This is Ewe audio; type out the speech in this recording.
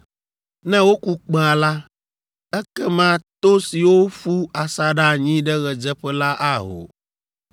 Ne woku kpẽa la, ekema to siwo ƒu asaɖa anyi ɖe ɣedzeƒe la aho.